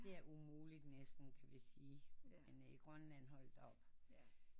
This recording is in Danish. Det er umuligt næsten hvis i men i Grønland holdt op